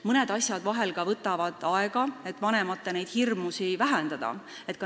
Mõnes asjas võtab vanemate hirmude vähendamine ka aega.